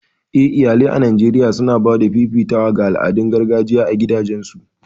Eh iyalai a Najeriya suna ba da fifitawa ga al'adun gargajiya a gidajensu